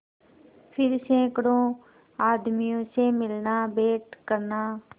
फिर सैकड़ों आदमियों से मिलनाभेंट करना